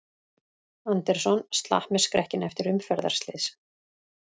Anderson slapp með skrekkinn eftir umferðarslys